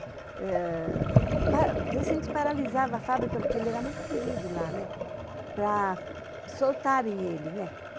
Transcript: Às vezes, a gente paralisava a fábrica, porque ele era muito querido lá, para soltarem ele.